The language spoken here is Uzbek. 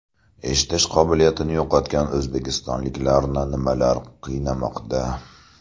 Eshitish qobiliyatini yo‘qotgan o‘zbekistonliklarni nimalar qiynamoqda?.